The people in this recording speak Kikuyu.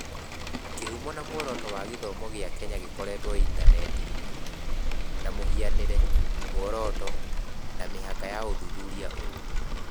Kĩhumo na muoroto wa gĩthomo gĩa Kenya gĩkorĩtwo intaneti-inĩ, na mũhianĩre, muoroto, na mĩhaka ya ũthuthuria ũyũ